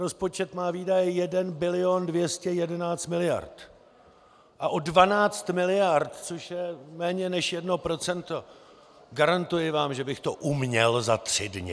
Rozpočet má výdaje 1 bilion 211 miliard a o 12 miliard, což je méně než 1 %, garantuji vám, že bych to uměl za tři dny!